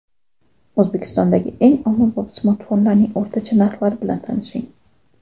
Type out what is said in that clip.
O‘zbekistondagi eng ommabop smartfonlarning o‘rtacha narxlari bilan tanishing.